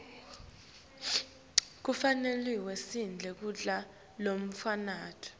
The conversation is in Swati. kufanele sidle kudla lokunemphilo